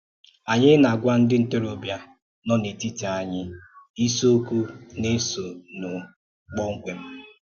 À na-àgwà ndí ntòròbíà nọ n’ètítí anyị ísìokwù na-èsònú kpọ́mkwém.